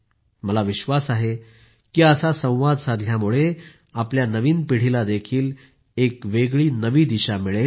मला विश्वास आहे की असा संवाद साधल्यामुळे आपल्या नवीन पिढीला एक वेगळी नवी दिशा मिळेल